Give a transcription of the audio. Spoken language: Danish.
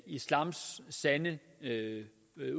islams sande